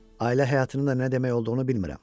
Ailə həyatının da nə demək olduğunu bilmirəm.